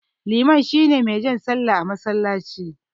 Liman shine mai jan sallah a masallaci.